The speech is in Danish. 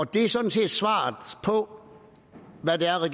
det er sådan set svaret på hvad det